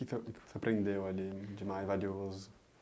O que que você aprendeu ali de mais valioso?